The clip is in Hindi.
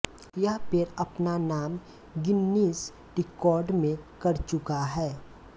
यह पेड़ अपना नाम गिन्निस रिकॉर्ड में कर चुका है